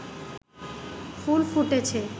ফুল ফুটেছে